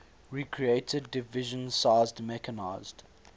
recreated division sized mechanized